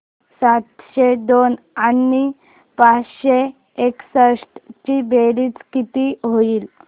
सातशे दोन आणि पाचशे एकसष्ट ची बेरीज किती होईल